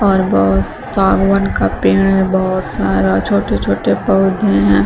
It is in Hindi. और बहोत सागवान का पेड़ है बहोत सारा छोटे छोटे पौधे हैं।